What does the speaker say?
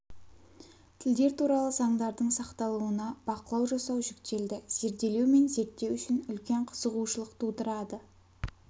тілдер туралы заңдардың сақталуына бақылау жасау жүктелді зерделеу мен зерттеу үшін үлкен қызығушылық тудырады